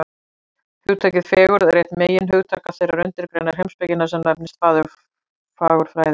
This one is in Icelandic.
Hugtakið fegurð er eitt meginhugtaka þeirrar undirgreinar heimspekinnar sem nefnist fagurfræði.